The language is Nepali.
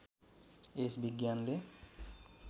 यस विज्ञानले